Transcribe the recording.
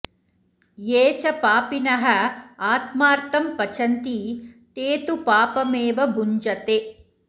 ये च पापिनः आत्मार्थं पचन्ति ते तु पापमेव भुञ्जते